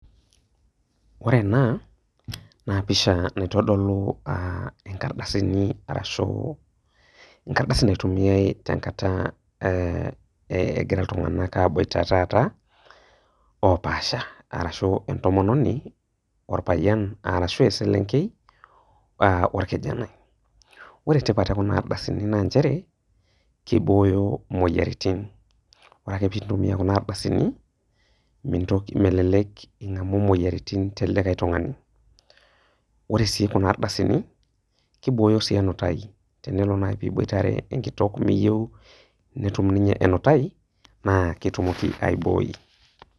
Wore ena, naa pisha naitodolu aah inkardasini arashu enkardasi naitumiyai tenkata eh ekira iltunganak aaboita taata, opaasha, arashu entomononi orpayian arashu eselenkei ah orkijanai. Wore tipat ekuna ardasini naa nchere, kibooyo muyiaritin. Wore ake pee intumiyia kuna ardasini, mintoki, melelek ingamu imoyiaritin telikae tungani. Wore sii kuna ardasini, kibooyo sii enutai tenelo naaji niboitare enkitok miyieu netum ninye enutai, naa ketumoki aibooi.